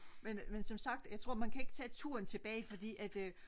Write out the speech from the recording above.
men som sagt jeg tror man kan ikke tage turen tilbage fordi at